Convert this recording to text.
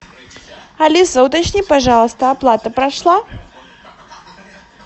алиса уточни пожалуйста оплата прошла